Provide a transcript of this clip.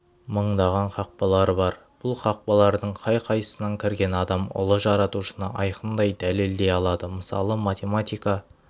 мыңдаған қақпалары бар бұл қақпалардың қай-қайсынан кірген адам ұлы жаратушыны айқындай дәлелдей алады мысалы математика